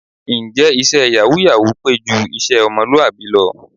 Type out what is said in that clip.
Ǹjẹ́ iṣẹ́ yàwúù-yàwúù pé ju iṣẹ́ ọmọlúwàbí lọ?